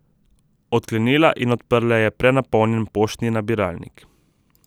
Odklenila in odprla je prenapolnjen poštni nabiralnik.